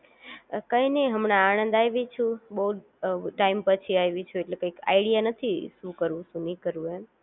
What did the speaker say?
કંઈ નય હમણાં આણંદ આયવી છું, બોવ ટાઈમ પછી આવી છું તો કઈ આઈડિયા નથી, શું કરવું શું ના કરવું એમ